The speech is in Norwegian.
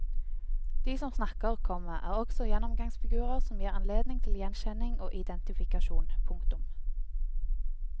De som snakker, komma er også gjennomgangsfigurer som gir anledning til gjenkjenning og identifikasjon. punktum